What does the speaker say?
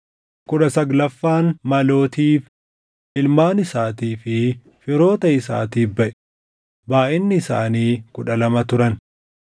kudha saglaffaan Malootiif, // ilmaan isaatii fi firoota isaatiif baʼe; // baayʼinni isaanii kudha lama turan